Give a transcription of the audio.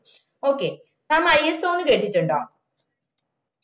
okay mamISO എന്നു കേട്ടിട്ടുണ്ടൊ